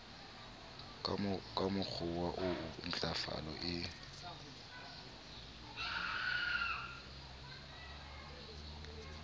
ka mokgowa oo ntlafalo e